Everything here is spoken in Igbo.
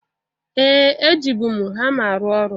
Ee! E jibu m hama arụ ọrụ.